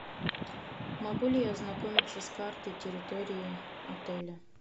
могу ли я ознакомиться с картой территории отеля